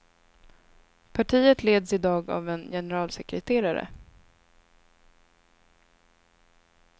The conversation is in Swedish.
Partiet leds i dag av en generalsekreterare.